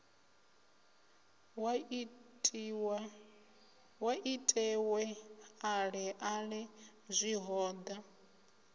sa itiwe ale ale zwihoda